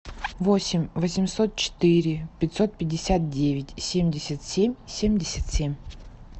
восемь восемьсот четыре пятьсот пятьдесят девять семьдесят семь семьдесят семь